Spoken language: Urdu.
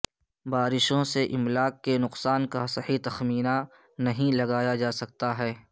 بارشوں سے املاک کے نقصان کا صحیح تخمینہ نہیں لگایا جاسکا ہے